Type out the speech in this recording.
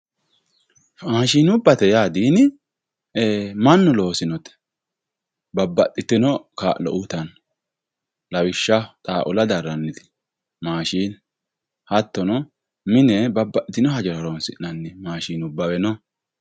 Mashinubate ya tini manu losinite babaxitino kallo uyitano lawishaho xaulla daraniti mashine hatono mine babaxitino hajora horosinani mashinubawe no